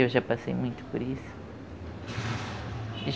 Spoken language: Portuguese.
Eu já passei muito por isso.